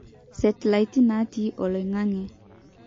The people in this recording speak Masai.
Setlaiti natii oloingange.